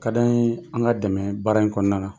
Ka d'an ye an ŋa dɛmɛ baara in kɔɔna na.